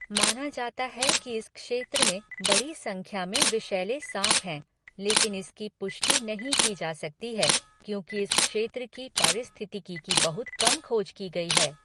माना जाता है कि इस क्षेत्र में बड़ी संख्या में विषैले साँप हैं, लेकिन इसकी पुष्टि नहीं की जा सकती है क्योंकि इस क्षेत्र की पारिस्थितिकी की बहुत कम खोज की गई है।